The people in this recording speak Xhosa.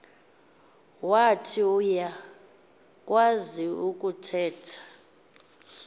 wath uyakwaz ukuthetha